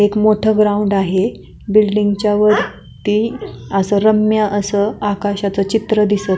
एक मोठं ग्राउंड आहे बिल्डिंग च्या वरती असं रम्य असं आकाशाचं चित्र दिसत--